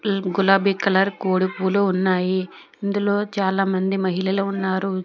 ఉమ్మ్ గులాబీ కలర్ కోడిపులు ఉన్నాయి ఇందులో చాలా మంది మహిళలు ఉన్నారు.